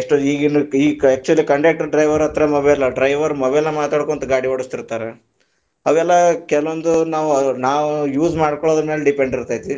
ಎಷ್ಟೋ ಈಗ ಇನ್ನು ಈಗ actually conductor, driver ಹತ್ರ mobile driver mobile ನಾಗ ಮಾತಾಡ್ಕೊಂತ ಗಾಡಿ ಓಡಿಸ್ತಿರ್ತಾರಾ, ಅವೆಲ್ಲಾ ಕೆಲವೊಂದು ನಾವು, ನಾವು use ಮಾಡ್ಕೊಳುದರ ಮ್ಯಾಲೆ depend ಇರ್ತೈತಿ .